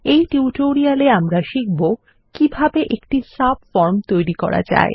এই টিউটোরিয়ালে আমরা শিখব কিভাবে একটি সাবফর্ম তৈরী করা যায়